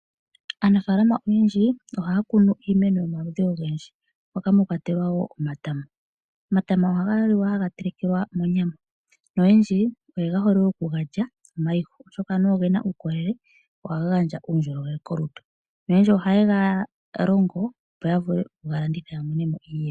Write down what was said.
Aanafalama oyendji Ohakunu iimeno yomaludhi ongendji poka mwakwatelwa wo omatama, omatama ohangaliwa hangatelekelwa monyama, oyendji oyehole okungalya omayihu oshoka anuwa ongena ukolele nohanga ngandja ukolele kolutu, noyendji ohangalongo opo yavule okungalanditha yamonemo iiyemo.